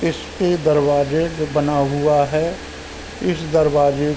इसके दरवाजे पे बना हुआ है। इस दरवाजे--